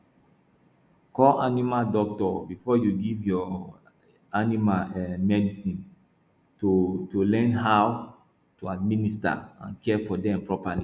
call animal doctor before you give your animal um medicine to to learn how to administer and care for them properly